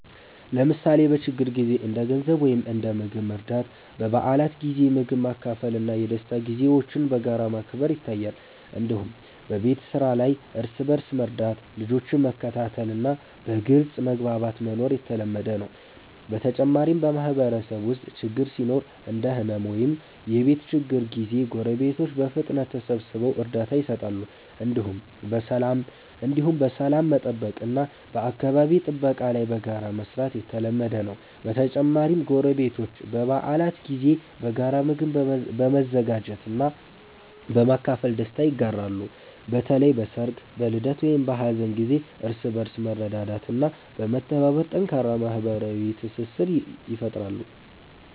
ለምሳሌ በችግር ጊዜ እንደ ገንዘብ ወይም እንደ ምግብ መርዳት፣ በበዓላት ጊዜ ምግብ ማካፈል እና የደስታ ጊዜዎችን በጋራ ማክበር ይታያል። እንዲሁም በቤት ስራ ላይ እርስ በእርስ መርዳት፣ ልጆችን መከታተል እና በግልጽ መግባባት መኖር የተለመደ ነው። በተጨማሪም በማህበረሰብ ውስጥ ችግር ሲኖር እንደ ሕመም ወይም የቤት ችግር ጊዜ ጎረቤቶች በፍጥነት ተሰብስበው እርዳታ ይሰጣሉ። እንዲሁም በሰላም መጠበቅ እና በአካባቢ ጥበቃ ላይ በጋራ መስራት የተለመደ ነው። በተጨማሪም ጎረቤቶች በበዓላት ጊዜ በጋራ ምግብ በመዘጋጀት እና በማካፈል ደስታ ይጋራሉ። በተለይ በሰርግ፣ በልደት ወይም በሀዘን ጊዜ እርስ በእርስ በመርዳት እና በመተባበር ጠንካራ ማህበራዊ ትስስር ይፈጥራሉ።